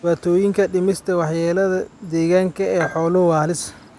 Dhibaatooyinka dhimista waxyeelada deegaanka ee xooluhu waa halis.